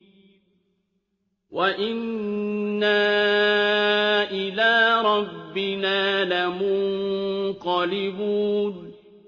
وَإِنَّا إِلَىٰ رَبِّنَا لَمُنقَلِبُونَ